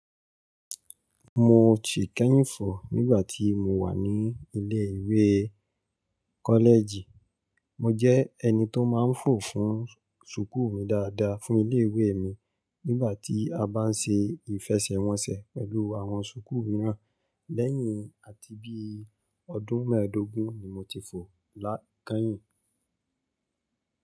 Mo ti kẹ́yìn fò nígbà tí mo wà ní ilé ìwé kọ́lẹ́ẹ̀jì. Mo jẹ́ ẹni tó máa ń fò fún sùkú mi dáadáa fún ilé ìwé mi nígbà tí a bá ń ṣe ìfẹsẹ̀wọnsẹ̀ pẹ̀lú àwọn sùkú mìíràn lẹ́yìn àti bíi ọdún mẹ́ẹ̀dógún ni mo ti fò lá kẹ́yìn.